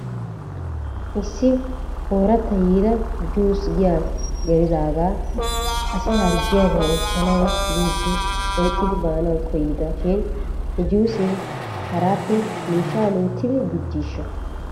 Issi ooratta yiida juusee giyaa gelidaagaa asi harggidaagaa oychchanaw biiddi oyqqidi baanaw koyida shin he juusee haraappe miishshaa loyttidi gujjiishsha?